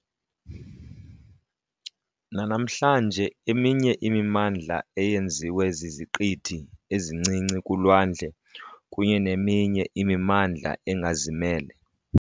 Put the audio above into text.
nanamhlanje eminye imimandla eyenziwe ziziqithi ezincinci kulwandle kunye neminye imimandla engazimele.